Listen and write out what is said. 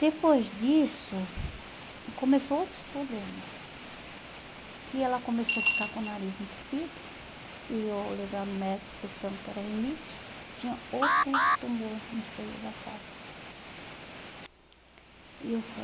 Depois disso, começou outros problemas, que ela começou a ficar com o nariz entupido, e eu levando o médico pensando que era rinite, tinha outro tumor no seio da face dela. E eu